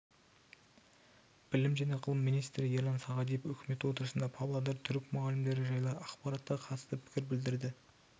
білім және ғылым министрі ерлан сағадиев үкімет отырысында павлодар түрік мұғалімдері жайлы ақпаратқа қатысты пікір білдірді